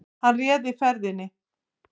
Hann réði ferðinni